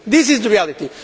This is the reality.